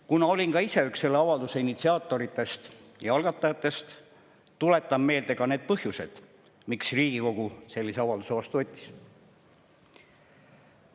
Kuna olin ka ise üks selle avalduse initsiaatoritest ja algatajatest, siis tuletan meelde ka need põhjused, miks Riigikogu sellise avalduse vastu võttis.